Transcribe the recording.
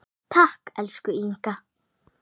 Takk, elsku Inga.